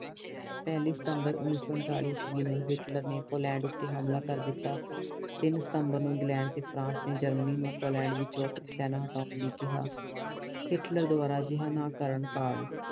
ਪਹਿਲੀ ਸਤੰਬਰ ਓਨੀ ਸੋ ਉਨਤਾਲੀ ਈਸਵੀ ਨੂੰ ਹਿਟਲਰ ਨੇ ਪੋਲੈਂਡ ਤੇ ਹਮਲਾ ਕਰ ਦਿੱਤਾ ਟੀਨ ਸਤੰਬਰ ਨੂੰ ਇੰਗਲੈਂਡ ਤਰ ਫਰਾਂਸ ਨਰ ਜਰਮਨੀ ਨੂੰ ਪਿਓਲੰਡ ਵਿਚੋਂ ਆਪਣੀ ਸੈਨਾ ਹਟਾਉਣ ਲਈ ਕਿਹਾ ਹਿਟਲਰ ਕਰਨ ਅਜਿਹਾ ਨਾ ਕਰਨ ਕਾਰਨ